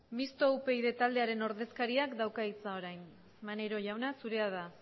misto upyd taldearen ordezkariak dauka hitza orain maneiro jauna zurea da